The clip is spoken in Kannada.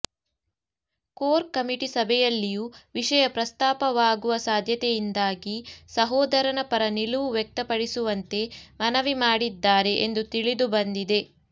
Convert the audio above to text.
ಕೋರ್ ಕಮಿಟಿ ಸಭೆಯಲ್ಲಿಯೂ ವಿಷಯ ಪ್ರಸ್ತಾಪವಾಗುವ ಸಾಧ್ಯತೆಯಿಂದಾಗಿ ಸಹೋದರನ ಪರ ನಿಲುವು ವ್ಯಕ್ತಪಡಿಸುವಂತೆ ಮನವಿ ಮಾಡಿದ್ದಾರೆ ಎಂದು ತಿಳಿದುಬಂದಿದೆ